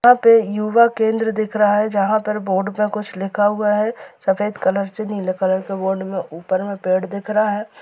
यहाँ पे युवा केन्द्र दिख रहा है जहां पर बोर्ड पे कुछ लिखा हुआ है सफ़ेद कलर से नीले कलर के बोर्ड में ऊपर में पेड़ दिख रहा है।